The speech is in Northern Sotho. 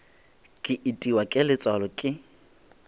ke itiwa ke letswalo ke